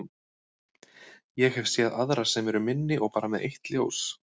Ég hef séð aðra sem eru minni og bara með eitt ljós.